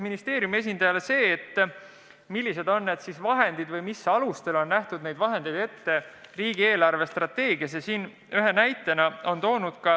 Ministeeriumi esindajale esitati küsimus, millised on need vahendid või mis alustel on neid eraldisi ette nähtud riigi eelarvestrateegias.